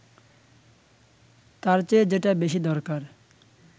তার চেয়ে যেটা বেশি দরকার